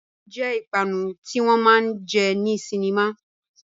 Gúgúrú jẹ́ ìpanu tí wọn máa jẹ ní sinimá